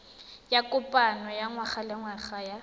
ya kopano ya ngwagalengwaga ya